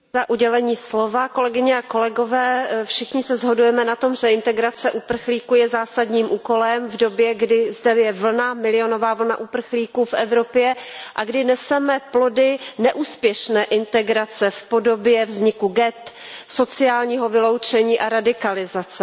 Paní předsedající, všichni se shodujeme na tom, že integrace uprchlíků je zásadním úkolem v době, kdy zde je milionová vlna uprchlíků v Evropě a kdy neseme plody neúspěšné integrace v podobě vzniku ghett, sociálního vyloučení a radikalizace.